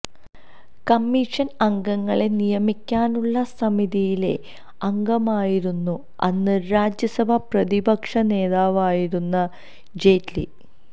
കമ്മിഷന് അംഗങ്ങളെ നിയമിക്കാനുള്ള സമിതിയിലെ അംഗമായിരുന്നു അന്ന് രാജ്യസഭാ പ്രതിപക്ഷ നേതാവായിരുന്ന ജെയ്റ്റ്ലി